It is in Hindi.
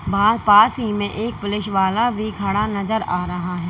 वहां पास ही में एक पुलिस वाला भी खड़ा नजर आ रहा है।